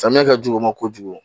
Samiya ka jugu ma kojugu